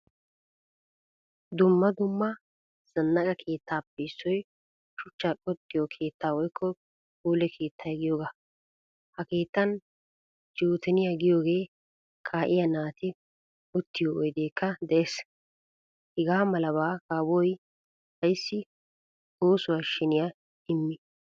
Dumma dumma zanaqqa keettaappe issoy shuchchaa qoxiyo keettaa woykko pule keettaa giyoga. Ha keettan joteniyagiyoge, ka'iyaa naati uttiyo oydekka de'ees. Hagamalaba kawoy ayssi oosuwaa sheniyaa immi?